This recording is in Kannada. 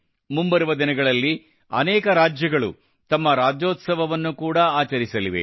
ಮುಂಬರುವ ದಿನಗಳಲ್ಲಿ ಅನೇಕ ರಾಜ್ಯಗಳು ತಮ್ಮ ರಾಜ್ಯೋತ್ಸವವನ್ನು ಕೂಡಾ ಆಚರಿಸಲಿವೆ